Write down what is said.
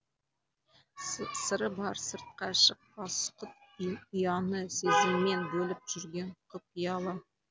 сыры бар сыртқа шықпас құт ұяны сезіммен бөліп жүрген құпиялы